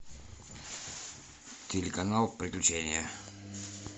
телеканал приключения